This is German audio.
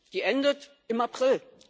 Die endet im April.